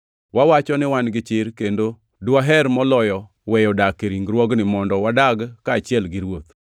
Wawacho ni wan gi chir kendo dwaher moloyo weyo dak e ringruogni mondo wadag kaachiel gi Ruoth.